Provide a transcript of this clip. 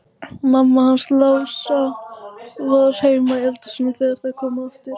Mamma hans Lása var heima í eldhúsi þegar þær komu aftur.